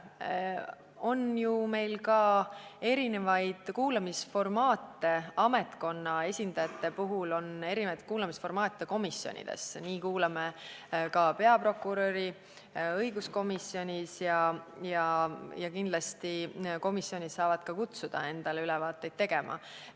Meil on komisjonides ka mitmesuguseid kuulamisformaate ametkonna esindajatele, nii kuulame näiteks peaprokuröri õiguskomisjonis, ja kindlasti saavad kõik komisjonid kutsuda ametnikke endale ülevaateid tegema.